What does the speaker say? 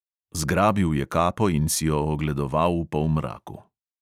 Zgrabil je kapo in si jo ogledoval v polmraku.